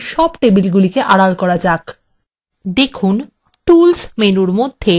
দেখুন tools menu মধ্যে table filter উপলব্ধ রয়েছে